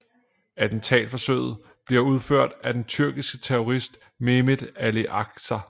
Attentatforsøget bliver udført af den tyrkiske terrorist Mehmet Ali Agca